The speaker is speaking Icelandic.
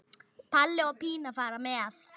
Palli og Pína fara með.